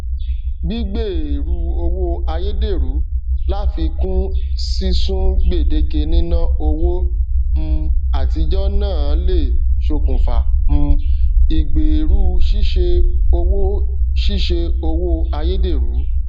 gbígbèèrú owó ayédèrú láfikún sísun gbèdéke níná owó um àtijọ náà le ṣokùnfà um ìgbèèrú ṣíṣe owó ṣíṣe owó ayédèrú